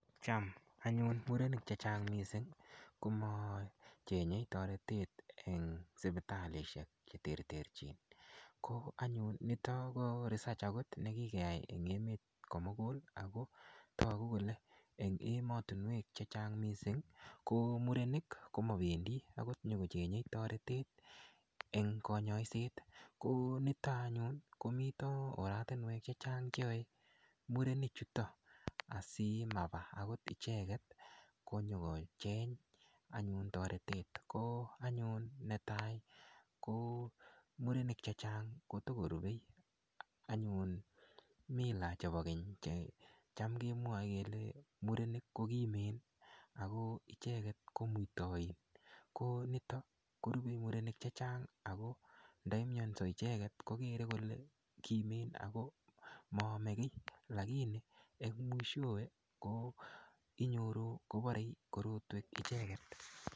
Cham anyun murenik che chang' missing ko macheng'e taretet eng' sipitalishek che terterchin. Ko anyun nitok ko research agot ne kikeyai eng' emet ko mugul ako tagu kole en ematunwek che chang' missing' ko murenik ko mapendi agot ko nyu ko cheng'e taretet eng' kanyaiset, ko nito anyun ko mita oratinwek che chang' che yae murenichutok asimapa agot icheget ko nyu ko cheng' anyun taretet ko anyun ne tai ko murenik che chang' ko tu ko rupei anyun mila chepo keny che cham kemwae kelen murenik ko kimen ako icheget ko muitain ko nitok korupe murenik che chang' ako ndamiansa icheget ko kere kole kimen ako maame ki, lakini eng' mwishowe ko inyoru kopare korokwek icheget.